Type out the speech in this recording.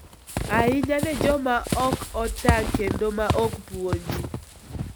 ahinya ne joma ok otang' kendo ma ok puonji.